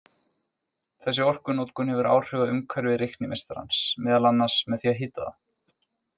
Þessi orkunotkun hefur áhrif á umhverfi reiknimeistarans, meðal annars með því að hita það.